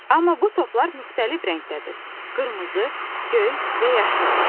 Amma bu toplar müxtəlif rəngdədir: qırmızı, göy və yaşıl.